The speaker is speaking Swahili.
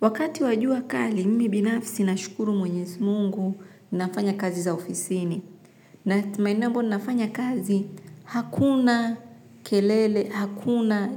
Wakati wa jua kali, mimi binafsi nashukuru mwenyezi mungu ninafanya kazi za ofisini. Na maeneo ambayo ninafanya kazi hakuna kelele, hakuna,